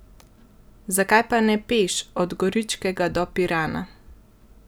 Zakaj pa ne peš od Goričkega do Pirana?